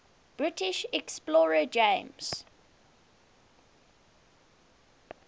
british explorer james